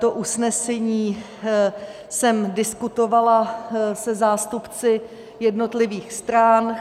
To usnesení jsem diskutovala se zástupci jednotlivých stran.